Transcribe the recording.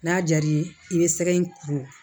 N'a jar'i ye i bɛ sɛgɛ in kuru